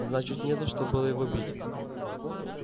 значит не за что было его бить